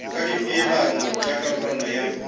ka dipeelano tša karolwana ya